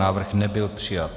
Návrh nebyl přijat.